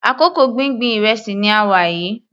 Àkókò gbíngbin ìrẹsì ni a wà yìí.